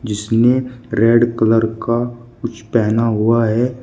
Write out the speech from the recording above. जिसने red colour का कुछ पहना हुआ है।